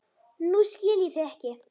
Nú skil ég þig ekki.